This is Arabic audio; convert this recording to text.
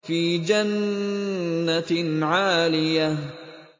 فِي جَنَّةٍ عَالِيَةٍ